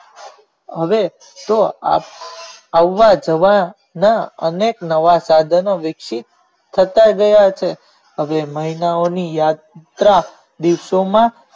હવે તે આજે આવવા જવા માં અનેક નવા સાધનો વિકસી ગયા છે હવે મહિનાઓ ની યાત્રા ની દિવસો માં